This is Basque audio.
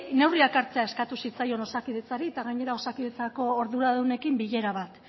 neurriak hartzea eskatu zitzaion osakidetzari eta gainera osakidetzako arduradunekin bilera bat